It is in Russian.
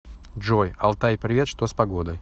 джой алтай привет что с погодой